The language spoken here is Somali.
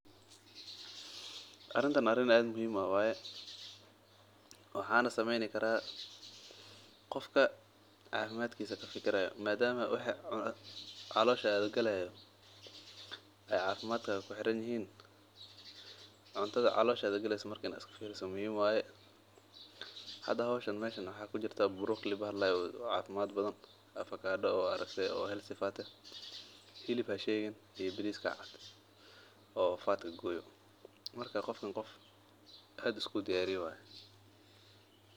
Arintan arin aad muhiim u ah waye waxaana sameen karaa qofka cafimaadkiisa kafikiro, marka cuntada caloosha galeysa waa in laga fikro, marka qofkan qof aad isku diyaariye waye.